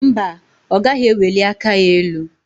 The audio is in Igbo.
Mba, ọ gaghị eweli aka ya elu.